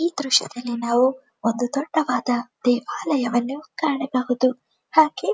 ಈ ದೃಶ್ಯದಲ್ಲಿ ನಾವು ಒಂದು ದೊಡ್ಡವಾದ ದೇವಾಲಯವನ್ನು ಕಾಣಬಹುದು.